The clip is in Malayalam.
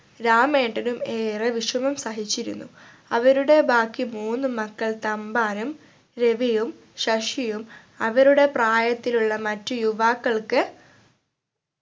രാമേട്ടനും ഏറെ വിഷമം സഹിച്ചിരുന്നു അവരുടെ ബാക്കി മൂന്ന് മക്കൾ തമ്പാനും രവിയും ശശിയും അവരുടെ പ്രായത്തിലുള്ള മറ്റ് യുവാക്കൾക്ക്